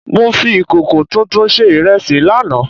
Mo fi ìkòkò tuntun sé ìrẹsì láàná